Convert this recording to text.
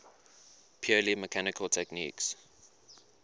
purely mechanical techniques